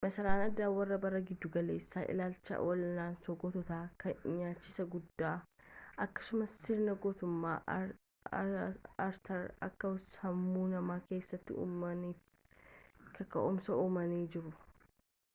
masaraan aadaa warra bara gidduu-galeessaa ilaalcha wal'aansoo goototaa kan nyaachisa guddaa akkasumas sirna gootummaa artar akka sammuu namaa keessatti uumamaniif kaka'umsa uumanii jiru